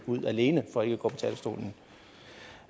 ud alene for ikke at gå på talerstolen